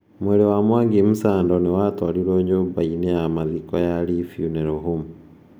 Mwĩrĩ wa Mwangi Msando nĩ watwarirwo nyũmba ya mathiko ya Lee Funeral Home.